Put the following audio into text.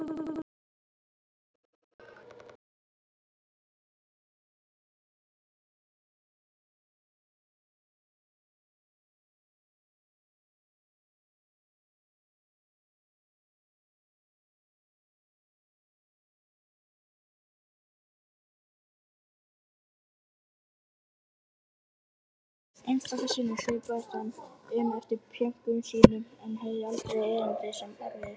Einstaka sinnum svipaðist hann um eftir pjönkum sínum en hafði aldrei erindi sem erfiði.